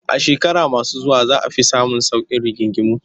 A shekaru masu zuwa za a fi samun sauƙin rigingimu